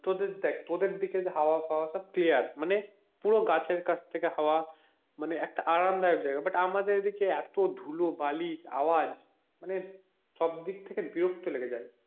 তোদের দেখ তোদের দিকে হাওয়া টাওয়া সব clear মানে পুরো গাছের কাছ থেকে হাওয়া মানে একটা আরাম দায়ক জায়গা আমাদের এদিকে এত ধুলো বালি আওয়াজ মানে সব দিক থেকে বিরক্ত লেগে যায়,